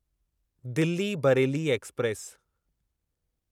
Delhi Bareilly express